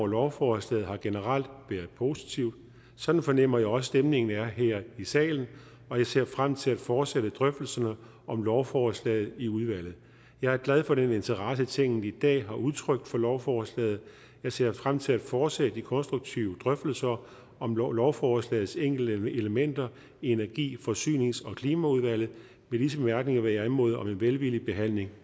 lovforslaget har generelt været positiv sådan fornemmer jeg også at stemningen er her i salen og jeg ser frem til at fortsætte drøftelserne om lovforslaget i udvalget jeg er glad for den interesse tinget i dag har udtrykt for lovforslaget jeg ser frem til at fortsætte de konstruktive drøftelser om lovforslagets enkelte elementer i energi forsynings og klimaudvalget med disse bemærkninger vil jeg anmode om en velvillig behandling